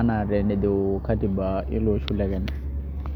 enaa vile nejo katiba ilo osho le Kenya.